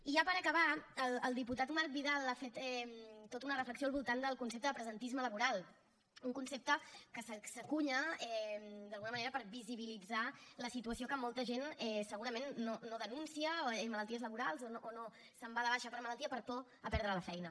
i ja per acabar el diputat marc vidal ha fet tota una reflexió al voltant del concepte de presentisme laboral un concepte que s’encunya d’alguna manera per visibilitzar la situació que molta gent segurament no denuncia malalties laborals o no se’n va de baixa per malaltia per por a perdre la feina